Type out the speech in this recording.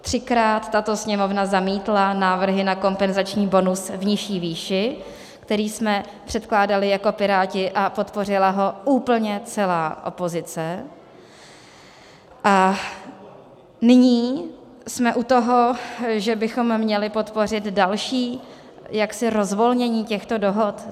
Třikrát tato Sněmovna zamítla návrhy na kompenzační bonus v nižší výši, který jsme předkládali jako Piráti, a podpořila ho úplně celá opozice, a nyní jsme u toho, že bychom měli podpořit další jaksi rozvolnění těchto dohod.